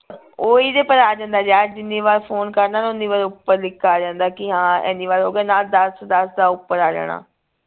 ਓਹੀ ਤੇ ਪਰ ਆ ਜਾਂਦਾ ਜੇ ਅੱਜ ਜਿੰਨੀ ਵਾਰ ਫੋਨ ਕਰਨਾ ਨਾ ਉੱਨੀ ਵਾਰ ਉਪਰ ਲਿਖਿਆ ਆ ਜਾਂਦਾ ਕਿ ਹਾਂ ਇੰਨੀ ਵਾਰ ਹੋ ਗਿਆ ਨਾਲ ਦੱਸ ਦੱਸ ਦਾ ਉਪਰ ਆ ਜਾਣਾ